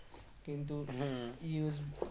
কিন্তু USG